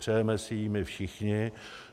Přejeme si ji my všichni.